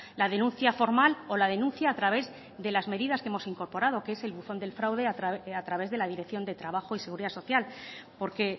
la denuncia formal o la denuncia a través de las medidas que hemos incorporado que es el buzón del fraude a través de la dirección de trabajo y seguridad social porque